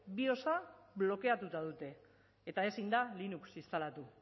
biosa blokeatuta dute eta ezin da linux instalatu